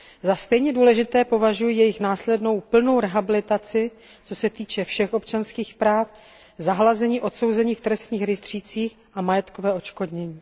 Za stejně důležité považuji jejich následnou plnou rehabilitaci, co se týče všech občanských práv, zahlazení odsouzení v trestních rejstřících a majetkové odškodnění.